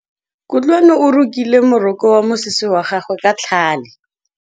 Kutlwanô o rokile morokô wa mosese wa gagwe ka tlhale.